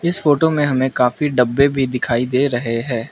इस फोटो में हमें काफी डब्बे भी दिखाई दे रहे हैं।